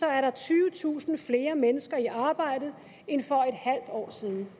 er tyvetusind flere mennesker i arbejde end for en halv år siden